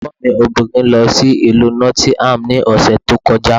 Ẹ̀gbọ́n mi obìnrin lọ sí Ìlú Nottingham ní ọ̀sẹ̀ tó kọjá.